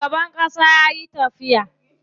Shugaban ƙasan yayi tafiya.